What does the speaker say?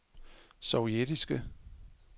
sovjetiske